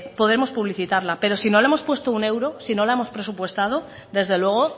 podemos publicitarla pero si no le hemos puesto un euro si no la hemos presupuestado desde luego